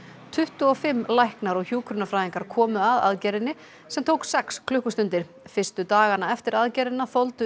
tuttugu og fimm læknar og hjúkrunarfræðingar komu að aðgerðinni sem tók sex klukkustundir fyrstu dagana eftir aðgerðina þoldu